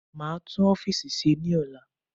Maa tún ọfiisi ṣe ní ola